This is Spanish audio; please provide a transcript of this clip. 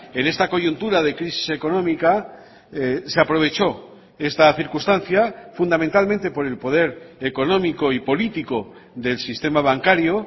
en esta coyuntura de crisis económica se aprovechó esta circunstancia fundamentalmente por el poder económico y político del sistema bancario